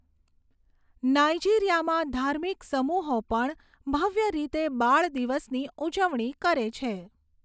નાઇજીરિયામાં ધાર્મિક સમૂહો પણ ભવ્ય રીતે બાળ દિવસની ઉજવણી કરે છે.